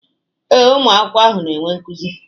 Ee, ụmụ akwụkwọ ahụ na-enwe nkuzi.